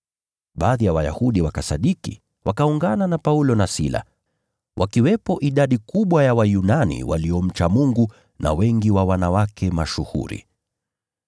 Baadhi ya Wayahudi wakasadiki, wakaungana na Paulo na Sila, wakiwepo idadi kubwa ya Wayunani waliomcha Mungu na wanawake wengi mashuhuri.